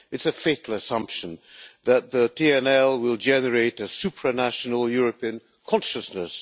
It is a fatal assumption that the TNL will generate a supranational European consciousness.